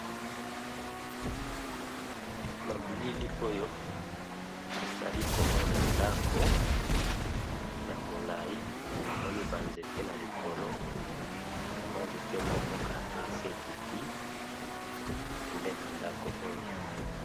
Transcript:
Na bilili oyo nali komona ndako ya molayi, pe namoni banzete na likolo ,kamwa nzete moko ka esi ekiti pembeni na ndako oyo .